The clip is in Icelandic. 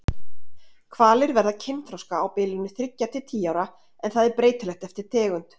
Hvalir verða kynþroska á bilinu þriggja til tíu ára en það er breytilegt eftir tegund.